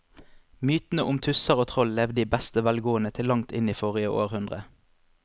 Mytene om tusser og troll levde i beste velgående til langt inn i forrige århundre.